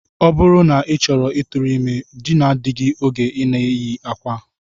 Ọ bụrụ na ị chọrọ ịtụrụ ime, dinaa di gị oge ị na-eyi akwa!